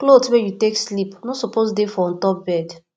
cloth wey you take sleep no suppose dey for ontop bed